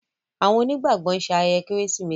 Awon oni gbàgbó nṣe ayẹyẹ Kérésìmesì